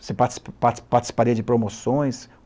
Você participaria de promoções?